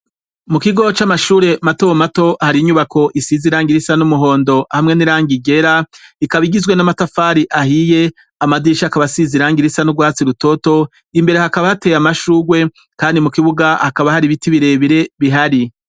Mu kigo c'amashure mato mato hari inyubako isizi irangi risa n'umuhondo hamwe n'irangi ryera ikaba igizwe n'amatafari ahiye amadirisha akaba asize irangi risa n'ugwatsi rutoto imbere hakaba hateye amashugwe kandi mu kibuga hakaba hari ibiti bire bire bihari.